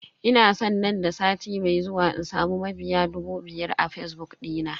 Ina san nan da sati mai zuwa in samu mabiya dubu biyar a fazbuk dina.